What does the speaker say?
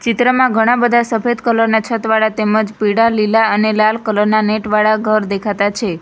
ચિત્રમાં ઘણાં બધા સફેદ કલર ના છત વાળા તેમજ પીડા લીલા અને લાલ કલર ના નેટ વાળા ઘર દેખાતા છે.